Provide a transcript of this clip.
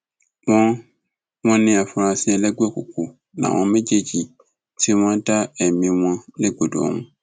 wọn wọn ní àfúrásì ẹlẹgbẹ òkùnkùn làwọn méjèèjì tí wọn dá ẹmí wọn légbodò ọhún